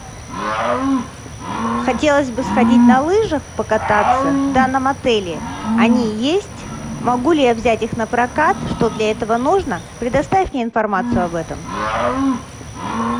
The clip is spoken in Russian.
хотелось бы сходить на лыжах покататься в данном отеле они есть могу ли я взять их на прокат что для этого нужно предоставь мне информацию об этом